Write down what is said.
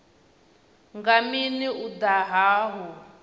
nga mini u daha hu